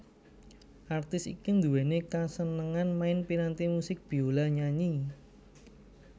Artis iki nduwèni kasenengan main piranti musik biola nyanyi